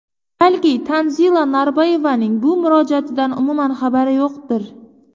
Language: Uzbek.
Balki Tanzila Norboyevaning bu murojaatdan umuman xabari yo‘qdir.